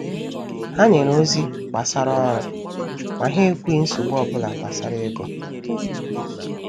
Ha nyere ozi gbasara ọrụ, ma ha ekwughị nsogbu obula gbasara ego.